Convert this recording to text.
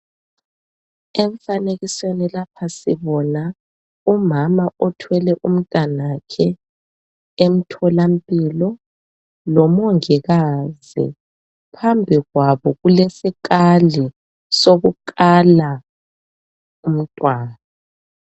Emfanekisweni lapha sibona umama othwele umntanakhe emtholampilo lomongikazi phambi kwabo kulesikali sokukala umntwana.